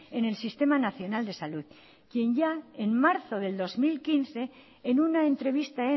en el sistema nacional de salud quien ya en marzo del dos mil quince en una entrevista